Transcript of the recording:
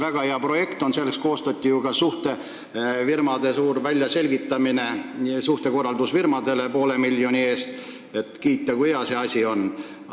Üldsusele tuli ju selgitada, et see on väga hea projekt, ja selleks palgati suhtekorraldusfirmasid poole miljoni eest, et nad kiidaksid, kui hea see asi on.